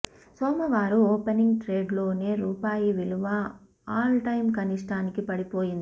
సోమవారం ఓపెనింగ్ ట్రేడ్లోనే రూపాయి విలువ ఆల్ టైమ్ కనిష్టానికి పడిపోయింది